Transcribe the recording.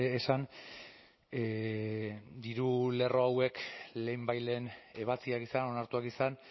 esan diru lerro hauek lehenbailehen ebatziak izan onartuak izan